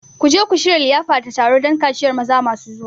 Ku je ku shirya liyafa da taro don kaciyar maza masu zuwa!